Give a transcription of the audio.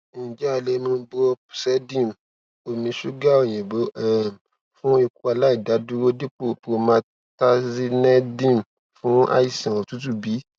njẹ a le mu brompsedm omi ṣuga oyinbo um fun ikọaláìdúró dipo promethazinedm fun aisan otutu bi